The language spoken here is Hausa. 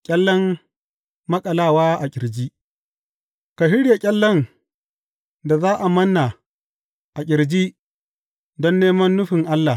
Ƙyallen maƙalawa a ƙirji Ka shirya ƙyallen da za a manna a ƙirji don neman nufin Allah.